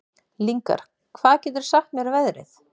Lyngar, hvað geturðu sagt mér um veðrið?